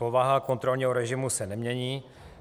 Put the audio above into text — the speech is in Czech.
Povaha kontrolního režimu se nemění.